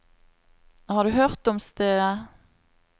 Har du hørt om stedet?